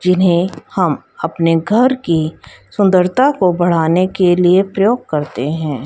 जिन्हें हम अपने घर की सुंदरता को बढ़ाने के लिए प्रयोग करते हैं।